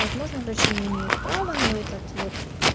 возможно врачи не имеют права но этот вот